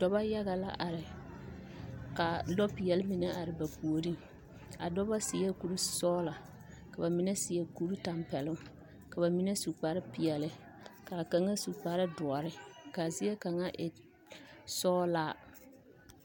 Dɔba yaga la are ka lɔɔpeɛle mine are ba puoriŋ a dɔba seɛ kursɔgla ka ba mine seɛ kurtɛmpɛloŋ ka ba mine su kparpeɛle ka kaŋa su kpardoɔre k,a zie kaŋa e sɔglaa.